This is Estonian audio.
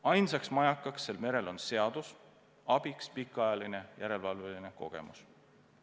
Ainus majakas sellel merel on seadus ja abiks pikaajaline järelevalvekogemus.